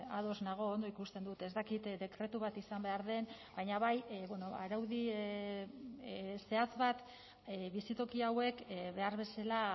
ados nago ondo ikusten dut ez dakit dekretu bat izan behar den baina bai araudi zehatz bat bizitoki hauek behar bezala